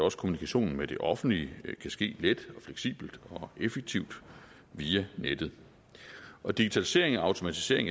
også kommunikationen med det offentlige kan ske let fleksibelt og effektivt via nettet og digitalisering og automatisering